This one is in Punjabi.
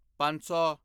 ਪੰਜ ਸੌ